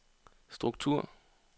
struktur